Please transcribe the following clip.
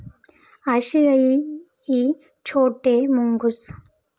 आशियाई इ छोटे मुंगूस